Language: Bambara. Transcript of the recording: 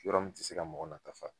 Yɔrɔ min ti se ka mɔgɔ nata fa